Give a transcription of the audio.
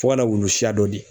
Fo ka na wulu siya dɔ di